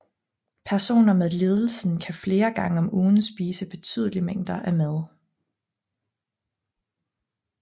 Personer med lidelsen kan flere gange om ugen spise betydelige mængder af mad